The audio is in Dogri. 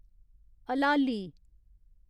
हलाली